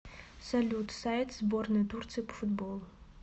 салют сайт сборная турции по футболу